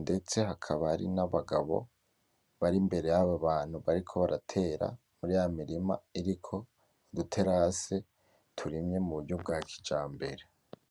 ndetse hakaba hari nabagabo bar'imbere yab'abantu bariko baratera muri yamirima iriko iterasi turimye muburyo bwakijambere.